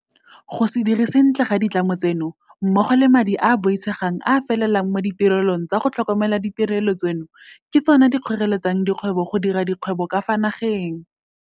Go se dire sentle ga ditlamo tseno mmogo le madi a a boitshegang a a felelang mo ditirelong tsa go tlhokomela ditirelo tseno ke tsona tse di kgoreletsang dikgwebo go dira dikgwebo ka fa nageng.